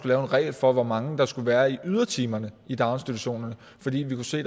lave en regel for hvor mange der skulle være i ydertimerne i daginstitutionerne fordi vi kan se